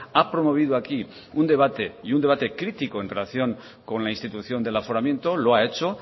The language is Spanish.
ha promovido aquí un debate y un debate crítico en relación con la institución del aforamiento lo ha hecho